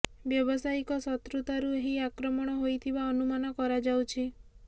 ବ୍ୟବସାୟିକ ଶତ୍ରୁତା ରୁ ଏହି ଆକ୍ରମଣ ହୋଇଥିବା ଅନୁମାନ କରାଯାଉଛି